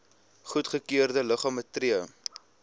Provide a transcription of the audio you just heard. goedgekeurde liggame tree